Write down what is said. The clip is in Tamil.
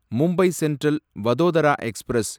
Mumbai central Vadodara express